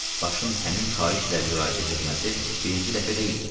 Başın həmin xahişlə müraciət etməsi birinci dəfə deyildi.